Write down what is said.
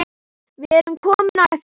Við erum komin á eftir.